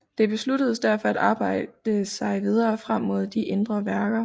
Det besluttedes derfor at arbejde sig videre frem mod de indre værker